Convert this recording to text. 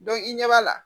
i ɲɛ b'a la